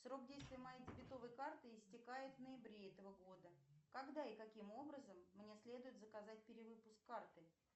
срок действия моей дебетовой карты истекает в ноябре этого года когда и каким образом мне следует заказать перевыпуск карты